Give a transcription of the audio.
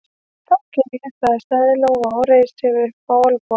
Þá geri ég það, sagði Lóa og reisti sig upp á olnbogana.